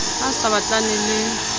ha a sa batlane le